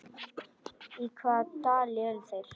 Í hvaða dal eru þeir?